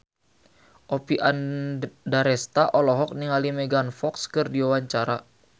Oppie Andaresta olohok ningali Megan Fox keur diwawancara